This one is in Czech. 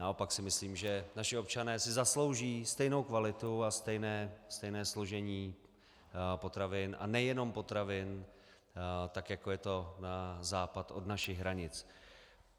Naopak si myslím, že naši občané si zaslouží stejnou kvalitu a stejné složení potravin, a nejenom potravin, tak jako je to na západ od našich hranic.